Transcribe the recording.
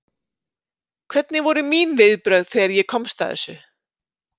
Hvernig voru mín viðbrögð þegar ég komst að þessu?